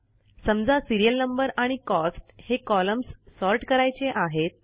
समजा serial number आणि cost हे कॉलम्स सॉर्ट करायचे आहेत